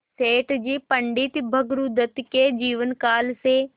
सेठ जी पंडित भृगुदत्त के जीवन काल से